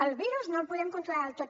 el virus no el podem controlar del tot